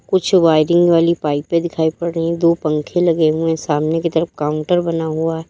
कुछ वायरिंग वाली पाइपे दिखाई पड़ रही है दो पंखे लगे हुए सामने की तरफ काउंटर बना हुआ है।